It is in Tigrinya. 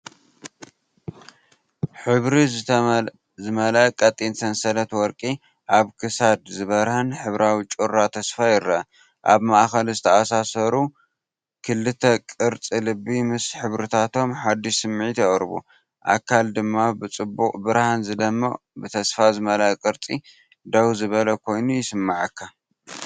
ሕብሪ ዝመልአ ቀጢን ሰንሰለት ወርቂ ኣብ ክሳድ ዝበርህ ሕብራዊ ጩራ ተስፋ ይረአ። ኣብ ማእከል ዝተኣሳሰሩ ክልተ ቅርጺ ልቢ ምስ ሕብርታቶም ሓድሽ ስምዒት የቕርቡ፣ ኣካል ድማ ብጽቡቕ ብርሃን ዝደምቕ ብተስፋ ዝመልአ ቅርጺ ደው ዝበለ ኮይኑ ይስምዓካ።